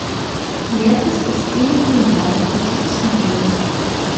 лента спасти ленинград хочу посмотреть